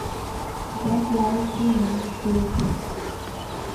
донт лай ту ми клип